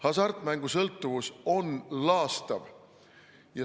Hasartmängusõltuvus on laastav.